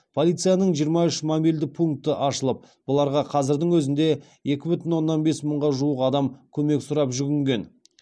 полицияның жиырма үш мобильді пункті ашылып бұларға қазірдің өзінде екі бүтін оннан бес мыңға жуық адам көмек сұрап жүгінген